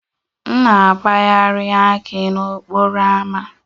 M na-apagharị akị n'okporo ámá